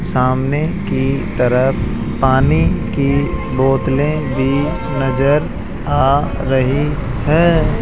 सामने की तरफ पानी की बोतले भी नजर आ रही है।